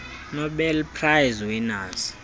nobel prize winners